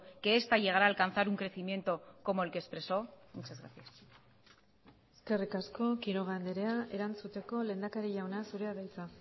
que esta llegará a alcanzar un crecimiento como el que expresó muchas gracias eskerrik asko quiroga andrea erantzuteko lehendakari jauna zurea da hitza